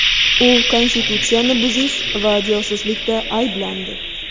U konstitutsiyani buzish va josuslikda ayblandi.